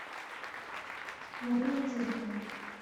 марине тереховой